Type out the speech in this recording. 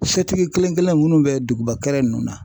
O sotigi kelen-kelen minnu be duguba kɛrɛ nunnu na